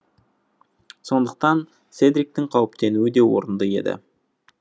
сондықтан седриктің қауіптенуі де орынды еді